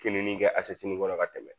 Finin kɛ kɔnɔ ka tɛmɛ